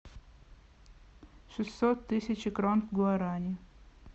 шестьсот тысяч крон в гуарани